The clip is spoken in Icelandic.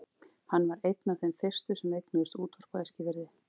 Hann var einn af þeim fyrstu sem eignuðust útvarp á Eskifirði.